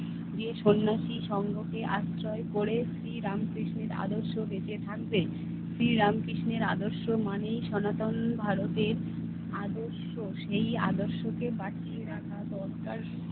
সন্ন্যাসী সঙ্গতে আশ্রয় পড়ে শ্রীরামকৃষ্ণের আদর্শ বেঁচে থাকবে। শ্রীরামকৃষ্ণের আদর্শ মানেই সনাতন ভারতের আদর্শ। সেই আদর্শকে বাঁচিয়ে রাখা দরকার